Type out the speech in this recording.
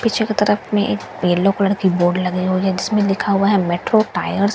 पीछे की तरफ में एक येलो कलर की बोर्ड लगी हुई है जिसमे लिखा हुआ है मैट्रो टायर्स --